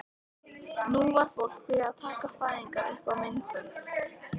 Nú var fólk byrjað að taka fæðingar upp á myndbönd.